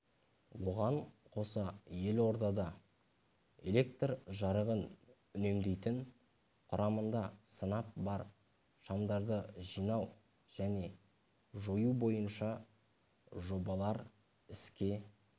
оған қоса елордада электр жарығын үнемдейтін құрамында сынап бар шамдарды жинау және жою бойынша жобалар іске